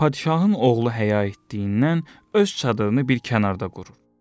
Padşahın oğlu həya etdiyindən öz çadırını bir kənarda qurur.